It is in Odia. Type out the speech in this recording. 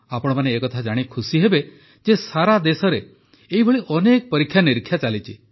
ଆପଣମାନେ ଏକଥା ଜାଣି ଖୁସିହେବେ ଯେ ସାରା ଦେଶରେ ଏହିଭଳି ଅନେକ ପରୀକ୍ଷାନିରୀକ୍ଷା ଚାଲିଛି